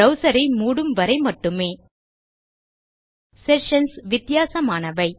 browser ஐ மூடும் வரை மட்டுமே செஷன்ஸ் வித்தியாசமானவை